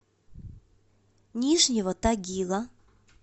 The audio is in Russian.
нижнего тагила